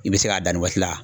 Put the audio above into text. I bɛ se k'a dan nin waati la.